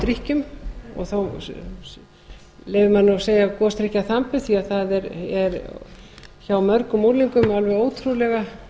drykkjum og þó leyfir maður sér að segja gosdrykkjaþambi því að það er hjá mörgum unglingum alveg ótrúlega